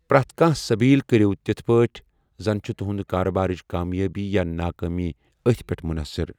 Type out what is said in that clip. پرٮ۪تھ کانٛہہ سبیل کرِو تِتھ پٲٹھۍ زن چھُ تُہنٛدِ کارٕبارٕچ کامیٲبی یا ناکٲمی اتھ پٮ۪ٹھ منحصر۔